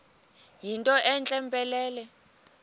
yinto entle mpelele